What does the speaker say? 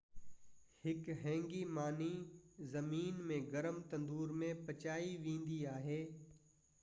هڪ هينگي ماني زمين ۾ گرم تندور ۾ پچائي ويندي آهي